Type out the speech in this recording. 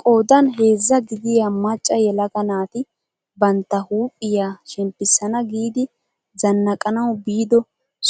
Qoodan heezzaa gidiyaa macca yelaga naati bantta huuphphiyaa shemppisana giidi zannaqanawu biido